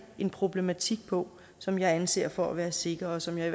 en problematik på som jeg anser for at være sikker og som jeg